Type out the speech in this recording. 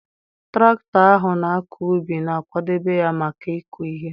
traktọ ahụ na-akọ ubi, na-akwadebe ya maka ịkụ ihe.